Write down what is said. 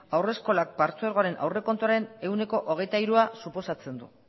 haurreskola partzuergoaren aurrekontuaren ehuneko hogeita hirua suposatzen du